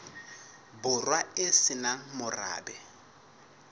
borwa e se nang morabe